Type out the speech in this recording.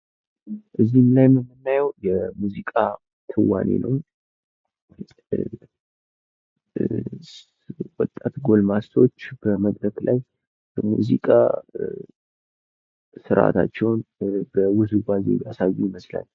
ሙዚቃ የፈጠራ ችሎታን የሚያበረታታና አዳዲስ ሀሳቦች እንዲፈጠሩ የሚያነሳሳ ጥበባዊ እንቅስቃሴ በመሆን ለግል እድገት አስተዋፅኦ ያደርጋል።